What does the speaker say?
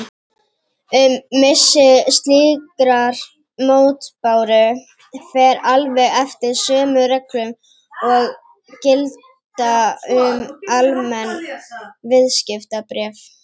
Um missi slíkrar mótbáru fer alveg eftir sömu reglum og gilda um almenn viðskiptabréf.